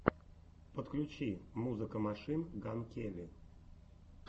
подключи музыка машин ган келли